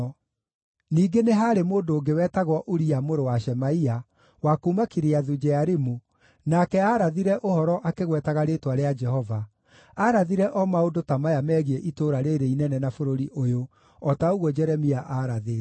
(Ningĩ nĩ haarĩ mũndũ ũngĩ wetagwo Uria mũrũ wa Shemaia, wa kuuma Kiriathu-Jearimu, nake aarathire ũhoro akĩgwetaga rĩĩtwa rĩa Jehova; aarathire o maũndũ ta maya megiĩ itũũra rĩĩrĩ inene na bũrũri ũyũ, o ta ũguo Jeremia aarathĩte.